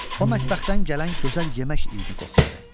O mətbəxdən gələn gözəl yemək iyni qoxladı.